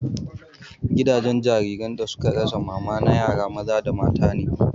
Gidan jariran da suka rasa mama na yara maza da mata ne